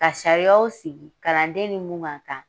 Ka sariyaw sigi kalanden ni mun ka kan